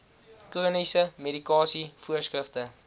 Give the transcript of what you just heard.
chroniese medikasie voorskrifte